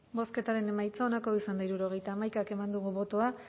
bozketaren emaitza onako izan da hirurogeita hamaika eman dugu bozka